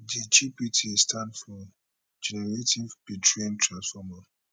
di gpt stand for generative pretrained transformer